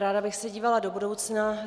Ráda bych se dívala do budoucna.